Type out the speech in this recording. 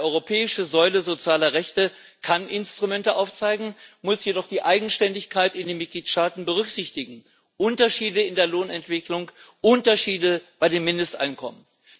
Eine europäische Säule sozialer Rechte kann Instrumente aufzeigen, muss jedoch die Eigenständigkeit in den Mitgliedstaaten berücksichtigen Unterschiede in der Lohnentwicklung, Unterschiede bei den Mindesteinkommen.